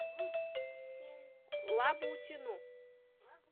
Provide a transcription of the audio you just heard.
лабутину